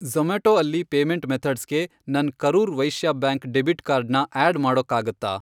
ಜೊ಼ಮ್ಯಾಟೊ ಅಲ್ಲಿ ಪೇಮೆಂಟ್ ಮೆಥಡ್ಸ್ಗೆ ನನ್ Karur Vysya bank debit card ನ ಆಡ್ ಮಾಡಕ್ಕಾಗತ್ತಾ?